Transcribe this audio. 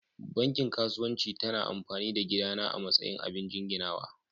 Banki kasuwanci ta na amfani da gida na a matsayin abin jinginawa.